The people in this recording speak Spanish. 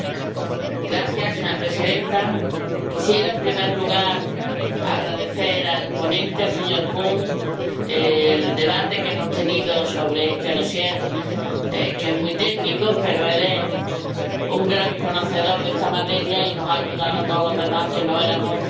Señora presidenta, quisiera, en primer lugar, agradecer al ponente, el señor Kuhn, el debate que hemos tenido sobre este dosier que es muy técnico, pero él es un gran conocedor de esta materia y nos ha ayudado a todos los demás, que no éramos tan expertos